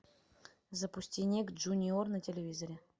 запусти ник джуниор на телевизоре